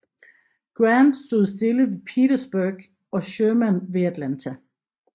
Grant stod stille ved Petersburg og Sherman ved Atlanta